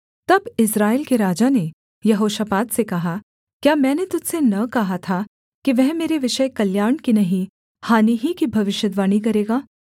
तब इस्राएल के राजा ने यहोशापात से कहा क्या मैंने तुझ से न कहा था कि वह मेरे विषय कल्याण की नहीं हानि ही की भविष्यद्वाणी करेगा